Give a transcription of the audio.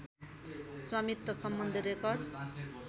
स्वामित्व सम्बन्धी रेकर्ड